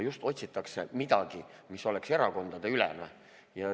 Just otsitakse midagi, mis oleks erakondadeülene.